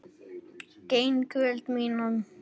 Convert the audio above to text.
Gegn vilja mínum.